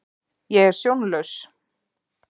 Ég er sjónlaus.